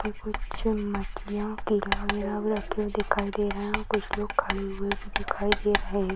कुछ मछलियाँ के रखे हुए भी दिखाई दे रहे हैं और कुछ लोग खड़े हुऐ भी दिखाई दे रहे हैं।